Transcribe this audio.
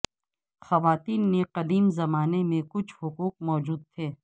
خواتین نے قدیم زمانے میں کچھ حقوق موجود تھے